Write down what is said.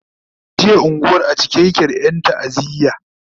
jiya unguwan a cike yake da Yan ta'aziya